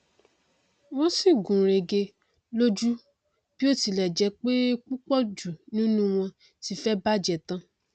wọn sì gúnrégé lójú bí ó tilẹ jẹ pé púpọ jù nínú wọn ti fẹ́ bàjẹ tán